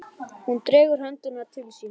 Hún dregur höndina til sín.